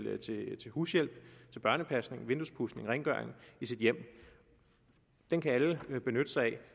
hushjælp børnepasning vinduespudsning rengøring i sit hjem den kan alle benytte sig af